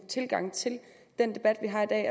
tilgang til den debat vi har i dag